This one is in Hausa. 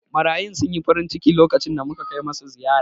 Marayun sun yi farinciki lokacin da muka kai musu ziyara.